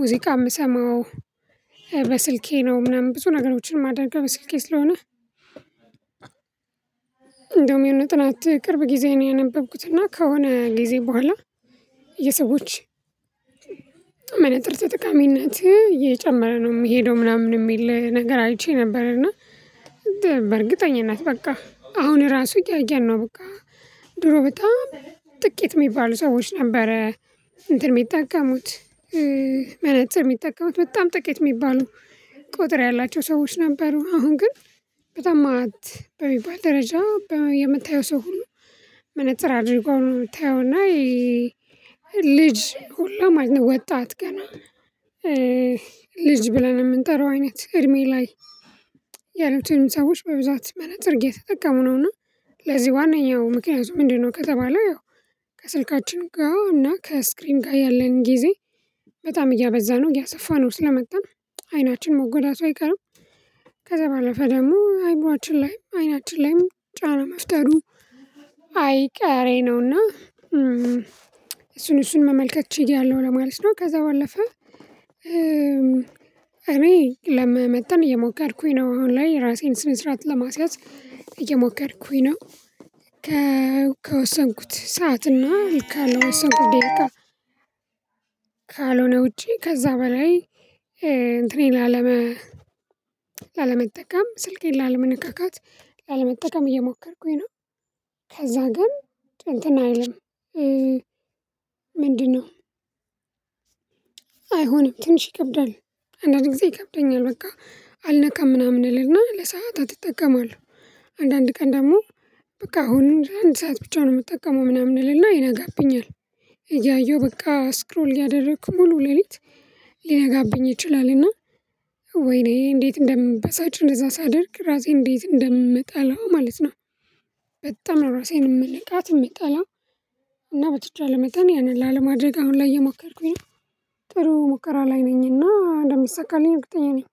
ሙዚቃ የምሰማው በስልኬ ነው ምናምን ብዙ ነገሮችን ማድረገው በስልኬ ስለሆነ። እንደውም የሆነ ጥናት ቅርብ ጊዜ ነው። ያነበብኩት እና ከሆነ ጊዜ በኋላ የሰዎች ጥርጥጥቃሚነት እጨመረ ነው የምሄደው ምናምን የሚል ነገር አይቼ ነበር እና። በእርግጠኝነት በቃ አሁን ራሱ እያየን ነው። በቃ ድሮ በጣም ጥቂት የሚባሉ ሰዎች ነበረ እንትን የሚጠቀሙት መነፅር የሚጠቀሙት በጣም ጥቂት የሚባሉ ቁጥር ያላቸው ሰዎች ነበሩ። አሁን ግን በጣም ማት በሚባል ደረጃ የምታየው ሰው ሁሉ መነፅር እድርጎ ነው ምታየው። እና ልጅ ሁሉም አይነት ወጣት ገና ልጅ ብለን የምንጠራው አይነት እድሜ ላይ ያሉትንም ሰዎች በብዛት መነፅር እየተጠቀሙ ነውና። ለዚህ ዋነኛው ምክንያቱ ምንድነው? ከተባለ ያው ከስልካችን ጋር እና ከስክሪን ጋር ያለን ጊዜ በጣም እያበዛ ነው እያሰፋ ነው ስለመጣን አይናችን መጎዳቱ አይቀርም። ከዛ ባለፈ ደግሞ አእምሯችን ላይ አይናችን ላይም ጫና መፍጠሩ አይቀሬ ነው። እና እሱን እሱን መመልከት ችዬያለሁ ለማለት ነው። ከዛ ባለፈ እኔ ለመመጠን እየሞከርኩኝ ነው አሁን ላይ ራሴን ስነ ስራዓት ለማስያዝ እየሞከርኩኝ ነው። ከወሰንኩት ሰዓት እና ካለው ወሰንኩት ዴሊጋ ካልሆነ ውጪ ከዛ በላይ እንትኔን ላለመጠቀም ስልኬን ላለመካካት ላለመጠቀም እየሞከርኩኝ ነው። ከዛ ግን እንትን አይልም ምንድነው? አይሆንም ትንሽ ይከብዳል። አንዳንድ ጊዜ ይከብደኛል በቃ አልነካም ምናምን እልና ለሰአታት እጠቀማለሁ። አንዳንድ ቀን ደግሞ በቃ አሁን አንድ ሰዓት ብቻ ነው የምጠቀመው ምናምን እልና ይነጋብኛል። እያየሁ በቃ ስክሮል ያደረኩ ሙሉ ሌሊት ሊነጋብኝ ይችላል። እና ወይኔ እንዴት እንደምበሳጭ እንደዛ ሳደርግ ራሴ እንዴት እንደምጠላው ማለት ነው። በጣም ራሴን የምልቃት የምጠላው የሚጠላው እና በተቻለ መጠን ያንን ላለማድረግ አሁን ላይ እየሞከርኩኝ ነው። ጥሩ ሙከራ ላይ ነኝና እንደሚሰካልኝ እርገጠኛ ነኝ።